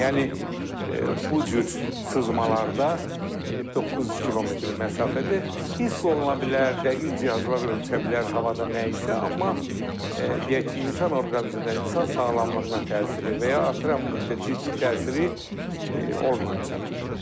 Yəni bu cür sızmalarda 900 kilometr məsafədə hiss oluna bilər, dəqiq cihazlar ölçə bilər havada nəyisə, amma deyək ki, insan orqanizminə, insan sağlamlığına təsiri və ya atrafa müitdə ciddi təsiri olmayacaq.